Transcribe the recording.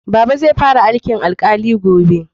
Baba zai fara aikin alkali gobe